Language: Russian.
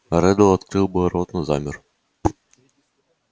реддл открыл было рот но замер